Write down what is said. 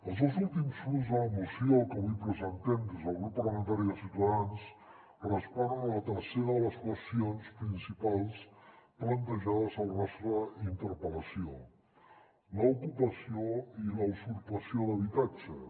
els dos últims punts de la moció que avui presentem des del grup parlamentari de ciutadans responen a la tercera de les qüestions principals plantejades a la nostra interpel·lació l’ocupació i la usurpació d’habitatges